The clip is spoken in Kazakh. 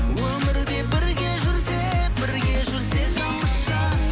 өмірде бірге жүрсек бірге жүрсек тамаша